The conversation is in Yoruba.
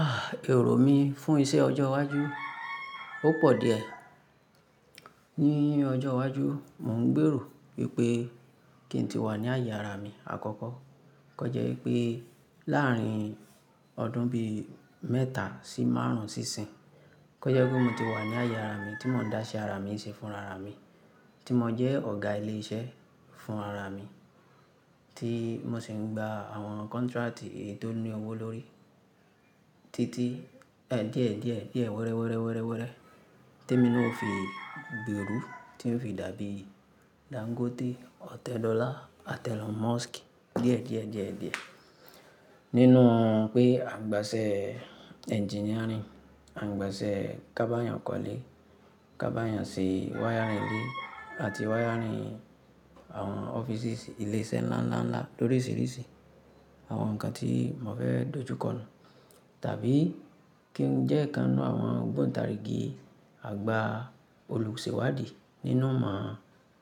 Ah! Ẹ̀ro mi fún iṣẹ́ ọjọ́ iwájú, ó pọ̀ díẹ̀. Ní ọjọ́ iwájú, mò ń gbèrò wípé kí n tí wà ní aàyè ara mi àkọ́kọ́. Kọ́ jẹ́ wípé láàrín ọdún bí mẹ́ta sí márùn-ún sí ìsín, kọ́ jẹ́ pé mo ti wà ní àyè ara mi tí mò ń dá iṣẹ́ ara mi ṣe fún ara mi, tí mò ń jẹ́ ọ̀gá ilé iṣẹ́ fún ara mi, tí mo sì ń gba àwọn contract tó ní owó lórí. Titi ẹ díẹ̀, díẹ̀, díẹ̀, wẹ́rẹ́, wẹ́rẹ́, wẹ́rẹ́, wẹ́rẹ́. Tí emi naa o fi gbèrú, tí n o fi dàbí Dangote, Ọ̀tẹ́dóla, Elon Musk. Díẹ̀, díẹ̀, díẹ̀, díẹ̀. Nínú pé à ń gba iṣẹ́ engineering, à ń gba iṣẹ́ kábáyàn kọ́lé, kábáyàn ṣe wiring ilé àti wiring àwọn ọ́fíìsì, ilé iṣẹ́ ńlá, ńlá, ńlá lóríṣìíríṣìí. Àwọn nǹkan tí mò fẹ́ dojú kọ́nu. Tàbí kí n jẹ́ ìkan nu àwọn gbọ̀ǹtàríìgì àgbà olùsèwádìí nínú ìmọ̀